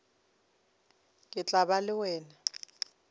ke tla ba le wena